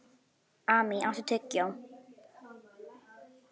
Amý, áttu tyggjó?